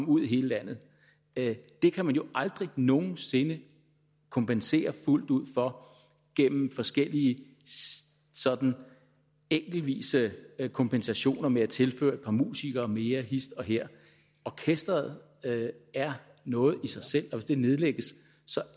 ud i hele landet det det kan man jo aldrig nogen sinde kompensere fuldt ud for gennem forskellige sådan enkeltvise kompensationer med at tilføre et par musikere mere hist og her orkesteret er noget i sig selv og hvis det nedlægges